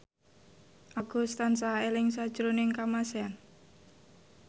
Agus tansah eling sakjroning Kamasean